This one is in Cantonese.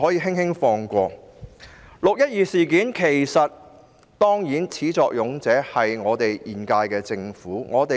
其實，"六一二"事件的始作俑者就是現屆政府。